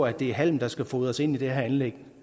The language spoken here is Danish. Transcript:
at det er halm der skal fodres ind i det her anlæg